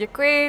Děkuji.